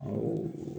Awɔ